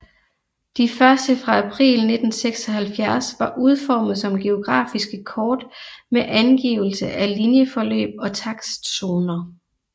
De første fra april 1976 var udformet som geografiske kort med angivelse af linjeforløb og takstzoner